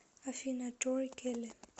афина тори келли